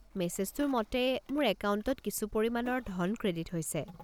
মেছেজটোৰ মতে, মোৰ একাউণ্টত কিছু পৰিমাণৰ ধন ক্ৰেডিট হৈছে।